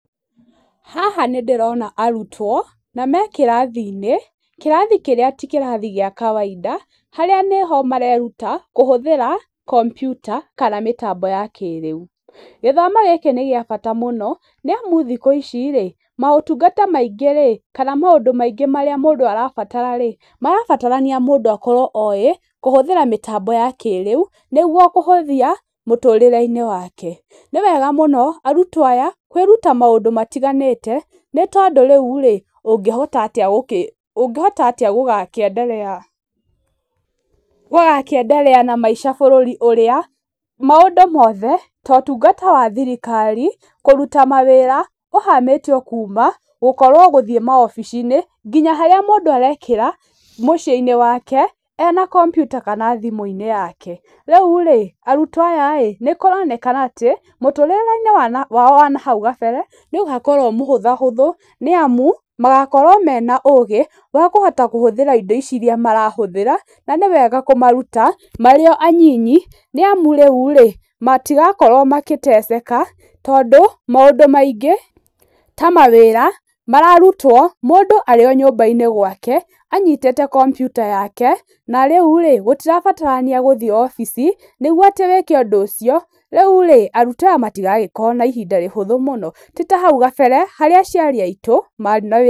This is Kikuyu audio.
Haha nĩ ndĩrona arutwo na mekĩrathi-inĩ, kĩrathi kĩrĩa ti kĩraathi gĩa kawainda, harĩa nĩho mareruta kũhũthĩra kompiuta kana mĩtambo ya kĩrĩu. Gĩthomo gĩkĩ nĩ gĩa bata mũno, nĩ amu thikũ ici rĩ, maũtungata maingĩ rĩ, kana maũndũ maingĩ marĩa mũndũ arabatara rĩ, marabatarania mũndũ akorwo oĩ kũhũthĩra mĩtambo ya kĩrĩu, nĩguo kũhũthia mũtũrĩre-inĩ wake. Nĩ wega mũno arutwo aya kwĩruta maũndũ matiganĩte, nĩ tondũ rĩu rĩ, ũngĩhota atĩ gũkĩ ũngĩhota atĩa gũgakĩenderea na gũgakĩenderea na maica bũrũri ũrĩa maũndũ mothe ta ũtungata wa thirikari kũruta mawĩra kũhamĩtio kuuma, gũkorwo gũthiĩ mawabici-inĩ, nginya harĩa mũndũ arekĩra, mũciĩ-inĩ wake, ena kompiuta kana thimũ-inĩ yake, rĩu rĩ, arutwo aya nĩ kũronekana atĩ, mũtũrĩreinĩ wao wa nahau kabere, nĩugakorwo mũhũthahũthũ nĩ amu magakorwo mena ũgĩ, wa kũhota kũhũthĩra indo ici iria marahũthĩra, na nĩ wega kũmaruta marĩ o anyinyi nĩ amu rĩu rĩ, matigakorwo magĩteceka tondũ maũndũ maingĩ, ta mawĩra mararutwo mũndũ arĩ o nyũmba-inĩ gwake, anyitĩte kompiuta yake, na rĩu rĩ gũtirabatarania gũthiĩ wabici nĩguo atĩ wĩke ũndũ ũcio, rĩu rĩ arutwo aya matigagĩkorwo a ihinda rĩhũthũ mũno, ti ta hau kabere harĩa aciari aitũ marĩ na wĩra.